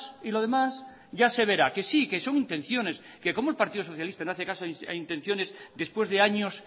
y lo demás ya se verá que sí que son intenciones que como el partido socialista no hace caso a intenciones después de años